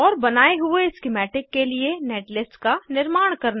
और बनाये हुए स्किमैटिक के लिए नेटलिस्ट का निर्माण करना